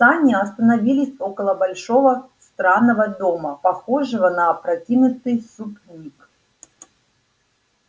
сани остановились около большого странного дома похожего на опрокинутый супник